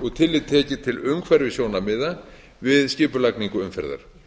og tillit tekið til umhverfissjónarmiða við skipulagningu umferðar